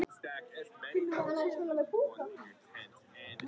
Hvernig er það gert?